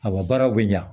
Awɔ baaraw bɛ ɲa